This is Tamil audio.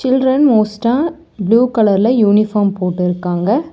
சில்ட்ரன் மோஸ்டா ப்ளூ கலர்ல யூனிஃபார்ம் போட்டுருக்காங்க.